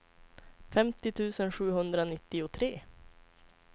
femtio tusen sjuhundranittiotre